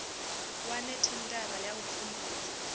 wane thendara ya u pfumbudza